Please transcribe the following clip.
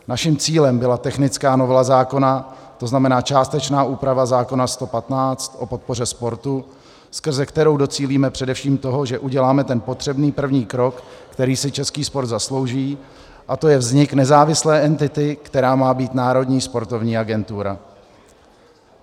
Naším cílem byla technická novela zákona, to znamená částečná úprava zákona 115 o podpoře sportu, skrze kterou docílíme především toho, že uděláme ten potřebný první krok, který si český sport zaslouží, a to je vznik nezávislé entity, kterou má být Národní sportovní agentura.